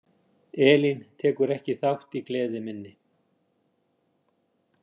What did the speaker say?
Elín tekur ekki þátt í gleði minni.